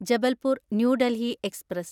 Jabalpur New Delhi express